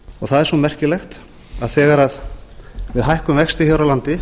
það er svo merkilegt að þegar við hækkum vexti hér á landi